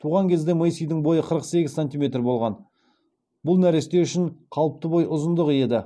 туған кезде мэйсидің бойы қырық сегіз сантиметр болған бұл нәресте үшін қалыпты бой ұзындығы еді